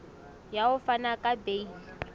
ya ho fana ka beile